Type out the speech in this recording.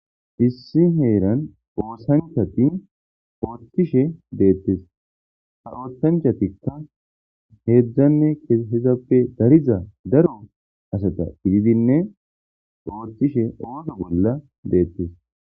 issi heeran oosanchati oottishe deettes ha osanchatikka heedzdzanne ehizappe dariza daro asata gididinne oothishe ooso bolla deettes